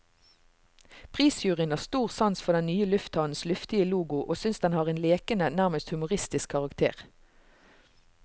Prisjuryen har stor sans for den nye lufthavnens luftige logo og synes den har en lekende, nærmest humoristisk karakter.